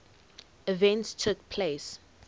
events took place